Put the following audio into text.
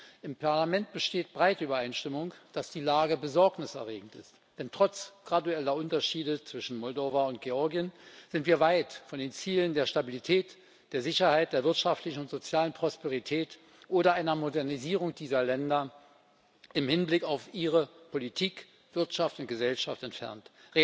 Im Europäischen Parlament besteht breite Übereinstimmung, dass die Lage besorgniserregend ist. Denn trotz gradueller Unterschiede zwischen Moldau und Georgien sind wir weit von den Zielen der Stabilität, der Sicherheit, der wirtschaftlichen und sozialen Prosperität oder einer Modernisierung dieser Länder im Hinblick auf ihre Politik, Wirtschaft und Gesellschaft entfernt.